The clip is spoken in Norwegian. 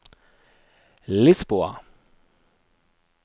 Lisboa